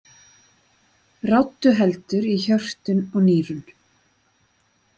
Ráddu heldur í hjörtun og nýrun.